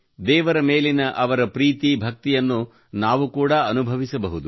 ದೇವರ ಮೇಲಿನ ಅವಳ ಪ್ರೀತಿ ಭಕ್ತಿಯನ್ನು ನಾವು ಕೂಡ ಅನುಭವಿಸಬಹುದು